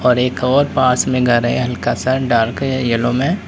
और एक और पास में घर है हल्का सा डार्क येलो में।